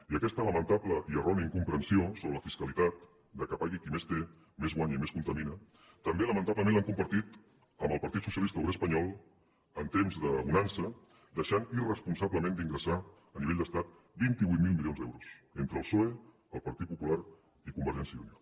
i aquesta lamentable i errònia incomprensió sobre la fiscalitat que pagui qui més té més guanya i més contamina també lamentablement l’han compartit amb el partit socialista obrer espanyol en temps de bonança deixant irresponsablement d’ingressar a nivell d’estat vint vuit mil milions d’euros entre el psoe el partit popular i convergència i unió